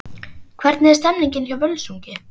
Hvernig er stemningin hjá Völsungi?